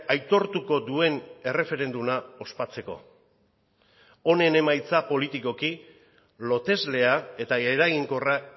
aitortuko duen erreferenduma ospatzeko honen emaitza politikoki loteslea eta eraginkorra